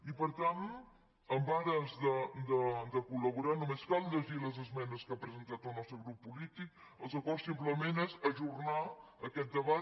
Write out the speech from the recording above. i per tant en ares de col·laborar només cal llegir les esmenes que ha presentat el nostre grup polític els acords simplement són ajornar aquest debat